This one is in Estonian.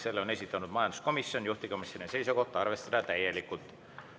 Selle on esitanud majanduskomisjon ja juhtivkomisjoni seisukoht on arvestada seda täielikult.